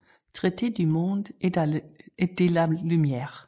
Traité du monde et de la lumière